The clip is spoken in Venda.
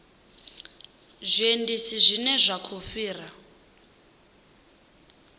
zwiendisi zwine zwa khou fhira